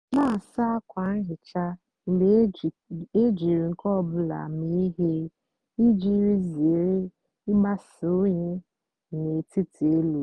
nà-àsa ákwa nhicha mgbe éjírí nkè ọ bụlà mée íhè íjì zére ịgbasa unyi n'ètítí élú.